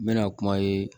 N bɛna kuma ye